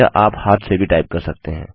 यह आप हाथ से भी टाइप कर सकते हैं